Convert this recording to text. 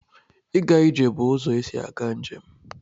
Ịga ije bụ ụzọ esi aga njem.